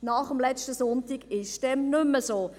Nach letztem Sonntag ist dem nicht mehr so.